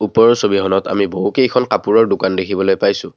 ওপৰৰ ছবিখনত আমি বহুকেইখন কাপোৰৰ দোকান দেখিবলৈ পাইছোঁ।